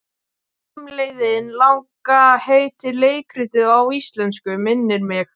Heimleiðin langa heitir leikritið á íslensku, minnir mig.